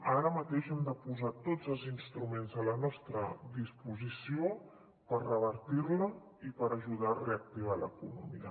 ara mateix hem de posar tots els instruments a la nostra disposició per revertir·la i per ajudar a reactivar l’economia